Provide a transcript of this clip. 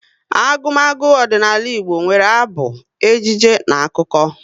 Agumagu ọdịnala Igbo nwere abụ, ejije na akụkọ